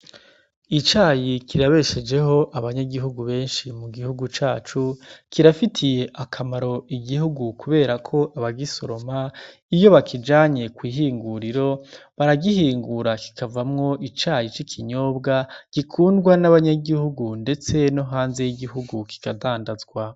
Icayi kirabeshejeho Abanyagihugu benshi mugihugu cacu kirafitiye akamaro Igihugu kuberako abagisoroma iyo bakijanye kwihinguriro baragihingura kikavamwo icayi cikinyobwa gikundwa n’abanyagihugu ndetse no hanze y’Igihugu kikadandazwa.